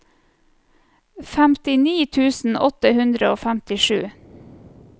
femtini tusen åtte hundre og femtisju